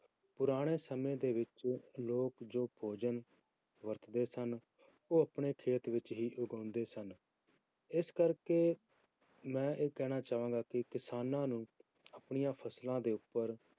ਪੁਰਾਣੇ ਸਮੇਂ ਦੇ ਵਿੱਚ ਲੋਕ ਜੋ ਭੋਜਨ ਵਰਤਦੇ ਸਨ ਉਹ ਆਪਣੇ ਖੇਤ ਵਿੱਚ ਹੀ ਉਗਾਉਂਦੇ ਸਨ, ਇਸ ਕਰਕੇ ਮੈਂ ਇਹ ਕਹਿਣਾ ਚਾਹਾਂਗਾ ਕਿ ਕਿਸਾਨਾਂ ਨੂੰ ਆਪਣੀਆਂ ਫਸਲਾਂ ਦੇ ਉੱਪਰ